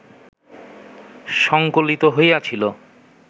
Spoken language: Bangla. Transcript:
সঙ্কলিত হইয়াছিল